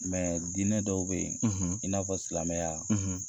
diinɛ dɔw be ye, i n'a fɔ silamɛya